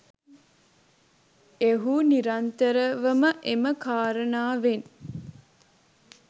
එහු නිරන්තරව ම එම කාරණාවෙන්